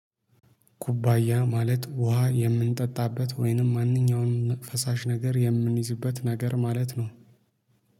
ኩባያ ማለት ውሃ የምንጠጣበት ወይንም ማንኛውንም ፈሳሽ ነገር የምንይዝበት ነገር ማለት ነው።